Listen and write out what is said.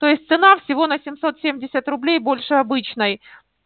то есть цена всего на семьсот семьдесят рублей больше обычной